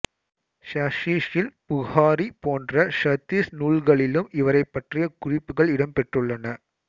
ஸஹீஹுல் புஹாரி போன்ற ஹதீஸ் நூல்களிலும் இவரைப் பற்றிய குறிப்புகள் இடம்பெற்றுள்ளன